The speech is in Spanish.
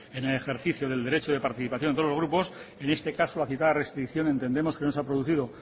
en el ejercicio del derecho de participación de todos los grupos en este caso la citada restricción entendemos que no se ha producido